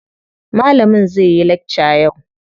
Malamin zai yi lakca yau.